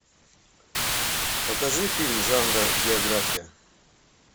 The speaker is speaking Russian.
покажи фильм жанра биография